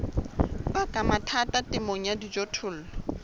baka mathata temong ya dijothollo